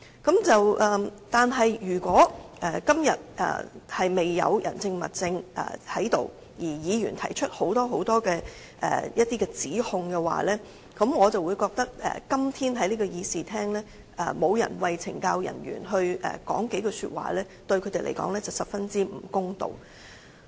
可是，如果今天未有人證、物證而議員提出多項指控的話，我便覺得今天在這個議事廳沒有人為懲教人員說幾句話，對他們是十分不公道的。